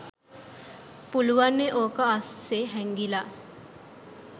පුළුවන්නේ ඕක අස්සේ හැංගිලා.